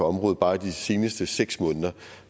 område bare i de seneste seks måneder